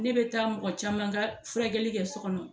Ne bɛ taa mɔgɔ caman ka furakɛli kɛ so kɔnɔ.